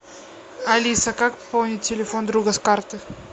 алиса как пополнить телефон друга с карты